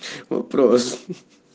вопрос ха-ха-ха